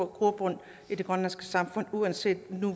grobund i det grønlandske samfund uanset